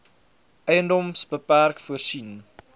edms bpk voorsien